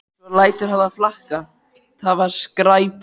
Svo lætur hann það flakka: Það var skræpa